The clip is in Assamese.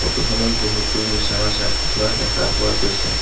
ফটো খনত বহুতো মিছামাছ ৰাখি থোৱা দেখা পোৱা গৈছে।